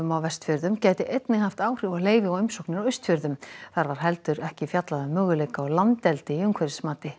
á Vestfjörðum gæti einnig haft áhrif á leyfi og umsóknir á Austfjörðum þar var heldur ekki fjallað um möguleika á landeldi í umhverfismati